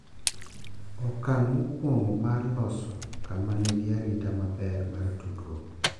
Okang’ mokwongo mar loso kama nigi arita maber mar tudruok